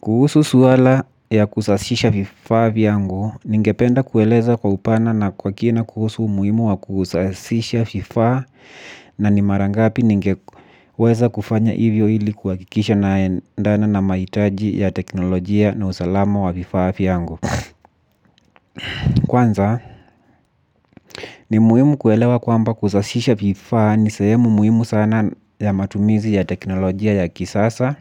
Kuhusu swala ya kusasisha vifaa vyangu, ningependa kueleza kwa upana na kwa kina kuhusu muhimu wa kusasisha vifaa na ni marangapi ningeweza kufanya hivyo hili kuwakikisha naendana na maitaji ya teknolojia na usalama wa vifaa vyangu. Kwanza, ni muhimu kuelewa kwamba kusasisha vifaa ni sehemu muhimu sana ya matumizi ya teknolojia ya kisasa.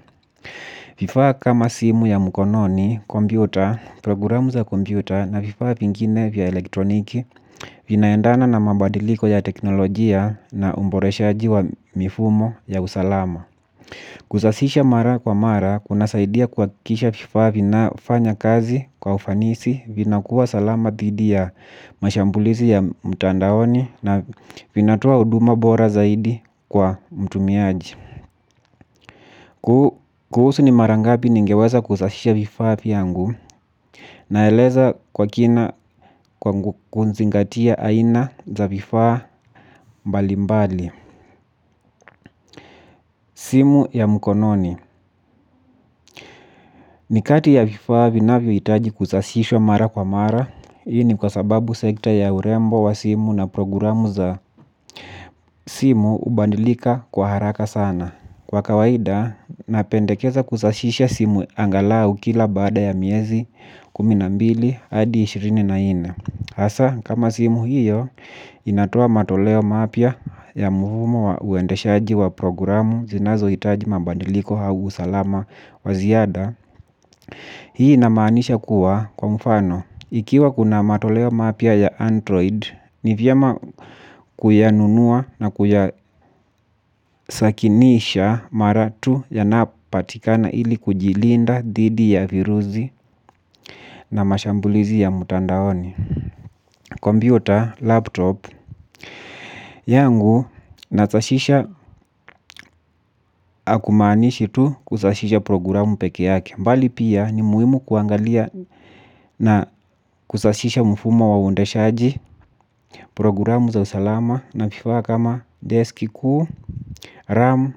Vifaa kama simu ya mkononi, kompyuta, programu za kompyuta na vifaa vingine vya elektroniki vinaendana na mabadiliko ya teknolojia na umboreshaaji wa mifumo ya usalama. Kusasisha mara kwa mara, kunasaidia kwa kisha vifaa vinafanya kazi kwa ufanisi vinakuwa salama dhidi ya mashambulizi ya mtandaoni na vinatoa huduma bora zaidi kwa mtumiaji. Kuhusu ni marangapi ningeweza kusasisha vifaa vyangu naeleza kwa kina kwa kuzingatia aina za vifaa mbali mbali. Simu ya mkononi. Nikati ya vifaa vinavyo itaji kusashishwa mara kwa mara hiii ni kwa sababu sekta ya urembo wa simu na programu za simu ubandilika kwa haraka sana. Kwa kawaida, napendekeza kusashisha simu angalau kila baada ya miezi kumi na mbili hadi ishirini na nne. Hasa, kama simu hiyo, inatoa matoleo mapya ya muhumo wa uendeshaji wa programu zinazo hitaji mabadiliko hau usalama wa ziada. Hii inamanisha kuwa kwa mfano. Ikiwa kuna matoleo mapya ya Android, ni vyema kuyanunua na kuyasakinisha mara tu yanapatikana ili kujilinda dhidi ya viruzi na mashambulizi ya mtandaoni. Computer, laptop, yangu nasashisha akumaanishi tu kusashisha programu peke yake. Mbali pia ni muhimu kuangalia na kusashisha mfumo wa uendeshaji. Programu za usalama na kifaa kama desk kuu, ram,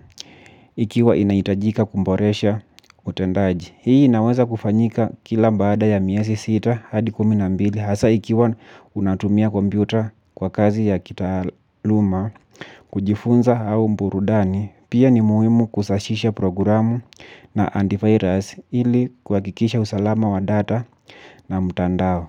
ikiwa inaitajika kumboresha utendaji. Hii inaweza kufanyika kila baada ya miezi sita hadi kumi na mbili hasa ikiwa unatumia kompyuta kwa kazi ya kitaaluma kujifunza hau mburudani pia ni muhimu kusashisha programu na antivirus ili kuwakikisha usalama wa data na mtandao.